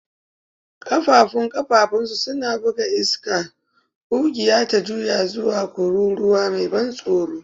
Ƙafãfun ƙafãfunsu suna buga iska, ƙugiya ta juya zuwa kururuwa mai ban tsoro